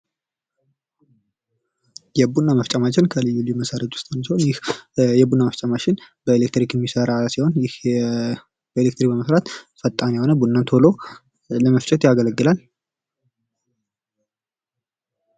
የቡና መፍጫ ማሽን ከልዩ ልዩ መሳሪያዎች አንዱ ሲሆን ይህ የቡና መፍጫ ማሽን በኤሌክትሪክ የሚሰራ ሲሆን በኤሌክትሪክ በመሠራት ፈጣን የሆነ ቡና ቶሎ ለመስራት ያገለግላል።